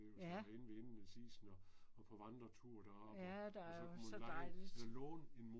Ja. Ja der er jo så dejligt